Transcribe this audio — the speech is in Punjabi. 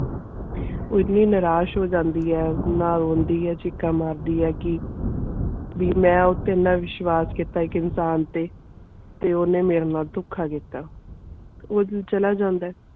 ਉਹ ਇਤਨੀ ਨਿਰਾਸ਼ ਹੋ ਜਾਂਦੀ ਇਹ ਨਾ ਰੋਂਦੀ ਇਹ ਚੀਕਾਂ ਮਾਰਦੀਆਂ ਕਿ ਵੀ ਮੈਂ ਉਦੇ ਤੇ ਐਨਾ ਵਿਸ਼ਵਾਸ ਕੀਤਾ ਇਕ ਇਨਸਾਨ ਤੇ ਤੇ ਓਨੇ ਮੇਰੇ ਨਾਲ ਤੋਖ ਕੀਤਾ ਤੇ ਉਹ ਦਿਨ ਚਲਾ ਜਾਂਦਾ.